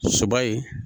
Soba ye